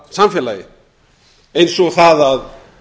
nútímasamfélagi eins og það að